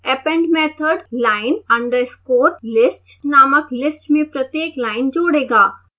append method line_list नामक list में प्रत्येक लाइन जोड़ेगा